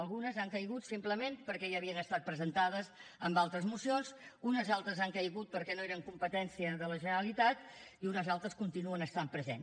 algunes han caigut simplement perquè ja havien estat presentades en altres mocions unes altres han caigut perquè no eren competència de la generalitat i unes altres continuen estant present